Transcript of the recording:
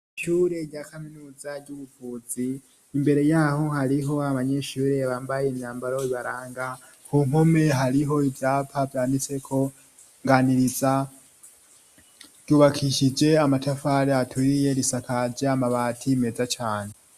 Ishure rya kaminuza ry'ubuvuzi, imbere y'aho hariho abanyeshure bambaye imyambaro ibaranga, ku mpome hariho ivyapa vyanditseko nganiriza, ryubakishije amatafari aturiye, risakaje amabati meza cane.